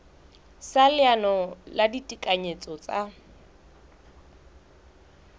sa leano la ditekanyetso tsa